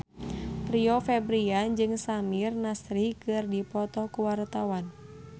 Rio Febrian jeung Samir Nasri keur dipoto ku wartawan